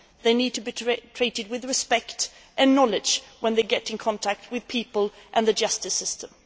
They need to be treated with respect and knowledge when they come into contact with people and the justice system.